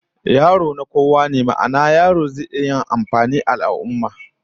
Yaro na, na kowa ne, ma'ana, yarona zai iya amfani ga al'ummah